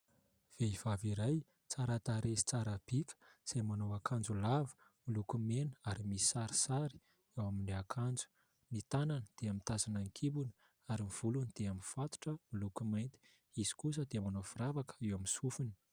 Vehivavy iray tsara tarehy sy tsara bika izay manao akanjo lava miloko mena ary misy sarisary ao amin'ny akanjony, ny tanana dia mitazona ny kibony ary ny volony dia mifatotra miloko mainty, izy kosa dia manao firavaka eo amin'ny sofiny.